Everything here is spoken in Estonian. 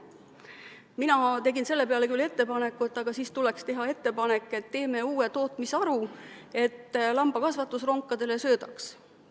Mina tegin selle peale küll ettepaneku, et siis tuleks teha uus tootmisharu – lambakasvatus ronkadele söödaks.